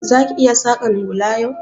Za ki iya saƙan hula yau?